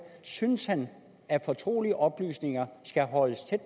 synes han at fortrolige oplysninger skal holdes tæt